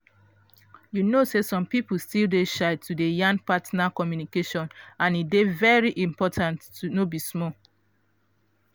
you know say some people still dey shy to dey yan partner communication and e dey very important no be small.